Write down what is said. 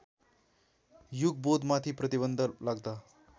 युगबोधमाथि प्रतिबन्ध लाग्दा